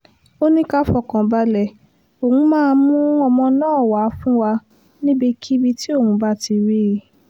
ó ní ká fọkàn balẹ̀ òun máa mú ọmọ náà wàá fún wa níbikíbi tí òun bá ti rí i